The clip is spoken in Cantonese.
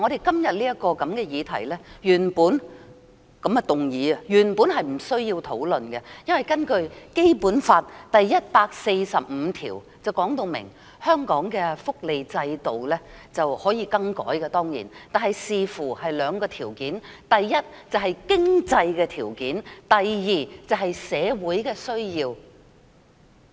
今天這項議案，原本是不需要討論的，因為《基本法》第一百四十五條訂明，香港的福利制度當然可以更改，但須端視兩項條件，第一是經濟條件，第二是社會需要。